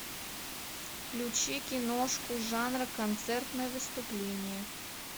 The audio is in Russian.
включи киношку жанра концертное выступление